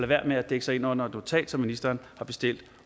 være med at dække sig ind under et notat som ministeren har bestilt